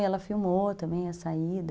E ela filmou também a saída.